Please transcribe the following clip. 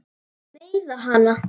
Meiða hana.